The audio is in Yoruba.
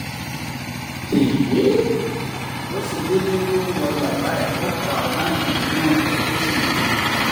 bó ṣe délé ló wọ yàrá ẹ̀ ó pọ àwọn májèlé náà pó ò sì gbé e mú